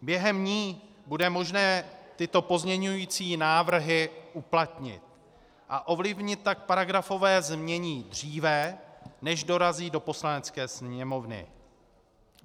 Během ní bude možné tyto pozměňující návrhy uplatnit, a ovlivnit tak paragrafové znění dříve, než dorazí do Poslanecké sněmovny.